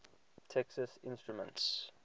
texas instruments